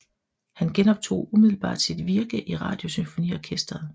Han genoptog umiddelbart sit virke i Radiosymfoniorkestret